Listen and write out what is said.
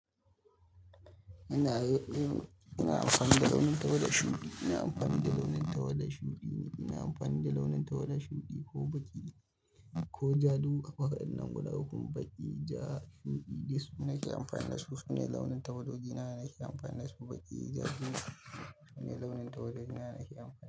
Ina, ina amfani da launin tawada shuɗi, ina amfani da launin tawada shuɗi ne, ina amfani da launin tawada shuɗi ko baƙi ko ja duk waɗannan guda ukun baƙi, ja, shuɗi, gish, nake amfani da su. Sune launin tawadoji na nake amfani da su baƙi, ja, gish. Shine launin tawadoji ma nada kyau.